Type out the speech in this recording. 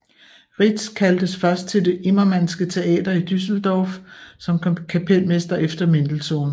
Rietz kaldtes først til det Immermannske Teater i Düsseldorf som kapelmester efter Mendelssohn